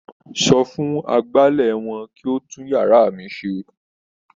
Sọ fún agbálẹ̀ wọn kí ó tún yàrá mi ṣe.